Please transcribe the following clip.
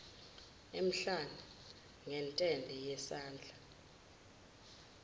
emhlane ngentende yesandla